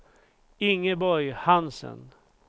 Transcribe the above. Ingeborg Hansen